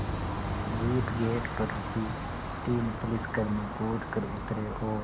jeep gate पर रुकी तीन पुलिसकर्मी कूद कर उतरे और